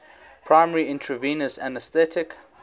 primary intravenous anesthetic